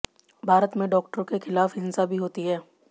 भारत में डॉक्टरों के खिलाफ हिंसा भी होती है